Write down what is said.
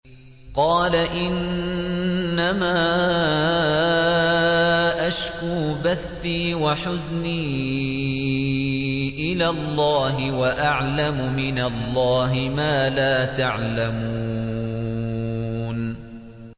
قَالَ إِنَّمَا أَشْكُو بَثِّي وَحُزْنِي إِلَى اللَّهِ وَأَعْلَمُ مِنَ اللَّهِ مَا لَا تَعْلَمُونَ